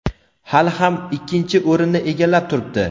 hali ham ikkinchi o‘rinni egallab turibdi.